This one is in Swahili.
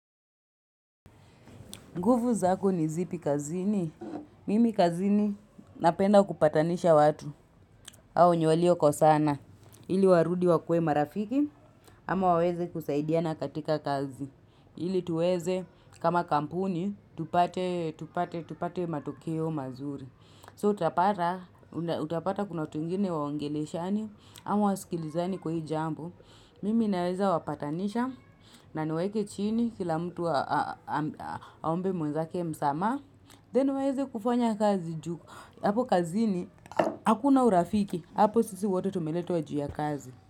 Nguvu zako ni zipi kazini? Mimi kazini napenda kupatanisha watu au wenye walio kosana. Ili warudi wakuwe marafiki ama waweze kusaidiana katika kazi. Ili tuweze kama kampuni, tupate, tupate, tupate matokeo mazuri. So utapata kuna watu wengine waongeleshani ama wasikilizani kwa hii jambu. Mimi naweza wapatanisha na niwaweke chini kila mtu aombe mwezake msamaha Then waeze kufanya kazi juu hapo kazini Hakuna urafiki hapo sisi wote tumeletwa juu ya kazi.